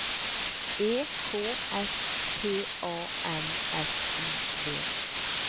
E K S P A N S I V